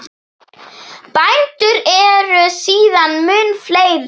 Bændur eru síðan mun fleiri.